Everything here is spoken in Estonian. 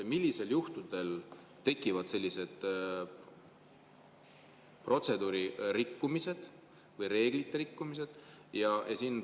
Millistel juhtudel tekivad sellised protseduuri rikkumised või reeglite rikkumised?